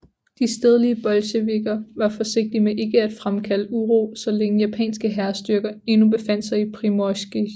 De stedlige bolsjevikker var forsigtige med ikke at fremkalde uro så længe japanske hærstyrker endnu befandt sig i Primorskij